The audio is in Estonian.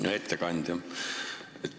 Hea ettekandja!